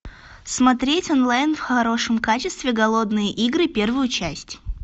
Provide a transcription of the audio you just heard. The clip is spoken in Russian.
смотреть онлайн в хорошем качестве голодные игры первую часть